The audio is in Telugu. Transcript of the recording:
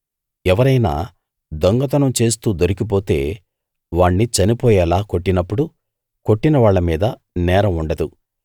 ఎవరైనా దొంగతనం చేస్తూ దొరికిపోతే వాణ్ణి చనిపోయేలా కొట్టినప్పుడు కొట్టిన వాళ్ళ మీద నేరం ఉండదు